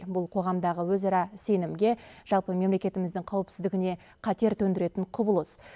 бұл қоғамдағы өзара сенімге жалпы мемлекетіміздің қауіпсіздігіне қатер төндіретін құбылыс